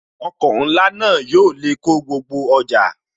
Ọkọ̀ ńlá náà yóò lè kó gbogbo ọjà